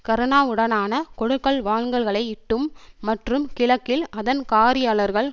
கருணாவுடனான கொடுக்கல் வாங்கல்களையிட்டும் மற்றும் கிழக்கில் அதன் காரியாளர்கள்